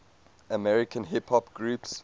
american hip hop groups